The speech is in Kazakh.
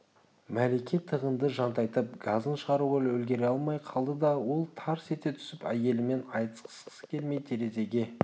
мәлике тығынды жантайтып газын шығаруға үлгере алмай қалды да ол тарс ете түсіп әйелімен айтысқысы келмей терезеге